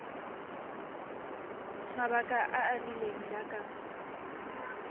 mabaka a a rileng jaaka